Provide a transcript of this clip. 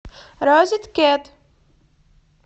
розеткед